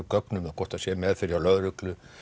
gögn um það hvort hann sé í meðferð hjá lögreglu